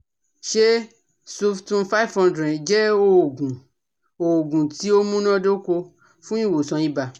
Ṣé suftum five hundred jẹ oogun oogun ti o munadoko fun iwosan iba